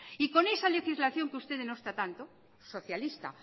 y con esa legislación que usted denosta tanto socialista